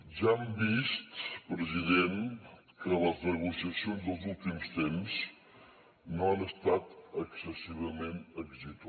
ja hem vist president que les negociacions dels últims temps no han estat excessivament d’èxit